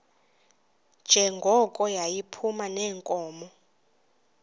njengoko yayiphuma neenkomo